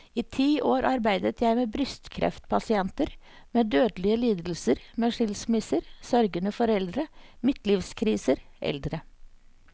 I ti år arbeidet jeg med brystkreftpasienter, med dødelige lidelser, med skilsmisser, sørgende foreldre, midtlivskriser, eldre.